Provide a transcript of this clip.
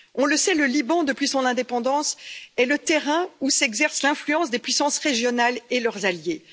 On le sait, le Liban, depuis son indépendance, est le terrain où s'exerce l'influence des puissances régionales et de leurs alliés.